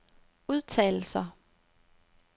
udtalelser